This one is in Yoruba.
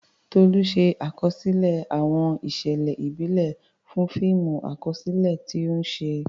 Tolu ṣe àkọsílẹ̀ àwọn ìṣẹ̀lẹ̀ ìbílẹ̀ fún fíìmù àkọsílẹ̀ tí ó ń ṣe.